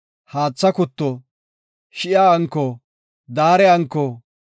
haatha kutto, shi7a anko, daare anko,